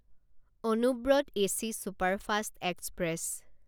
Anubrata AC superfast express